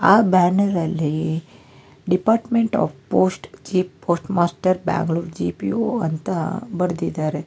ಆ ಬ್ಯಾನರ್ ಲ್ಲಿ department of post chief post master Bangalore G P O ಅಂತ ಬರದಿದಾರೆ.